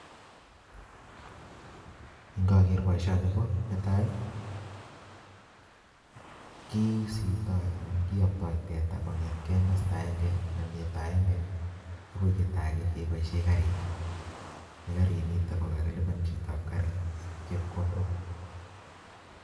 ing'ager boisioni ko netai, kiisiptoi, anan kiyoptoi teta kongetkeiy masta agenge anan yeito agenge, agoi yeito age keboisiey garit, ne garit nitok ko kakilipan chitop garit chepkondok.